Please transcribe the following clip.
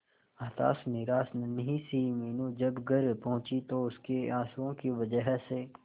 हताश निराश नन्ही सी मीनू जब घर पहुंची तो उसके आंसुओं की वजह से